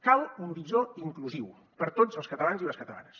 cal un horitzó inclusiu per a tots els catalans i les catalanes